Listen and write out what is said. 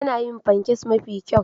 Tana yin pancakes mafi kyau.